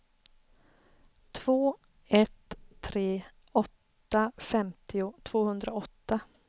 två ett tre åtta femtio tvåhundraåtta